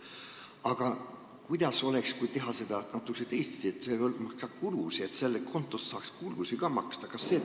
Aga kuidas oleks, kui teeks seda natuke teisiti, et see hõlmaks ka kulusid, st sellest kontost saaks ka kulusid maksta?